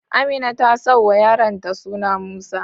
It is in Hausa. Amina ta sauwa yaron ta suna Musa